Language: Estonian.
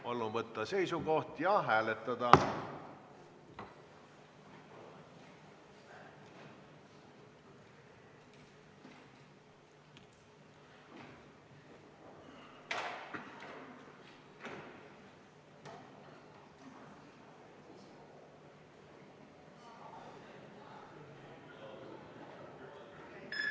Palun võtta seisukoht ja hääletada!